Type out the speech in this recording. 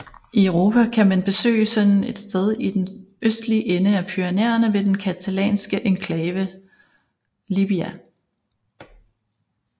I Europa kan man besøge sådan et sted i den østlige ende af Pyrenæerne ved den catalanske enklave Llibia